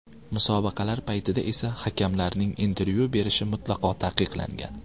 Musobaqalar paytida esa hakamlarning intervyu berishi mutlaqo taqiqlangan.